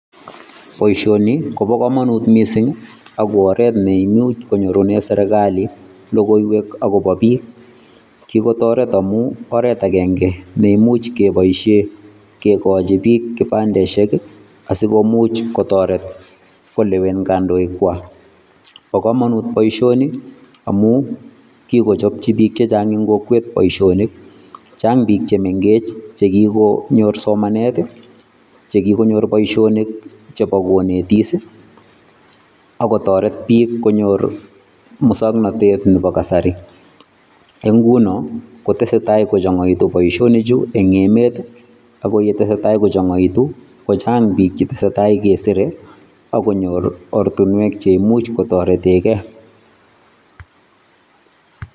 Boishoni komo komonut missing ak KO oret neimuch konyorunen serkali logoiwek akobo biik .Kikotoreet amun oret agenge neimuch keboishien kikochi biil kipandeisiek I,asikomuch kotoret kolewen kondoikchwak. Bo komonut boishoni amun kikochob chi bik Che chang en kokwet boishonik. Chang biik che mengech che kikonyor somanet, chekikonyor boishonik chebo konetis I akotoret biik konyor musoknotet Nebo kasari. Nguno kotosetai kochongoito boishonichu en emet I ako yetesetai kochongoito kochang book che ketesei tai kesire akonyor ortinwek cheimuch kotoreten keey.